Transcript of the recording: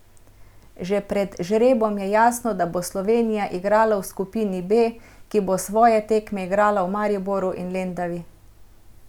Že pred žrebom je jasno, da bo Slovenija igrala v skupini B, ki bo svoje tekme igrala v Mariboru in Lendavi.